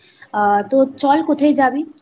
হ্যাঁ তো চল কোথায় জাবি?